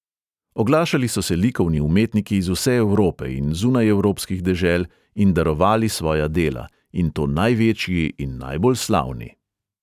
Oglašali so se likovni umetniki iz vse evrope in zunajevropskih dežel in darovali svoja dela, in to največji in najbolj slavni.